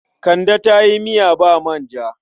Kande ta yi miya ba manja.